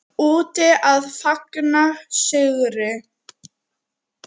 Úti að fagna sigri.